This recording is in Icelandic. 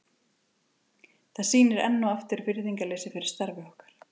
Það sýnir enn og aftur virðingarleysi fyrir okkar starfi.